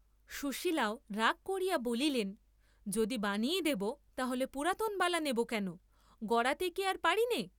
সুশীলাও রাগ করিয়া বলিলেন, যদি বানিই দেব, তাহলে পুরাণ বালা নেব কেন, গড়াতে কি আর পাবি নে।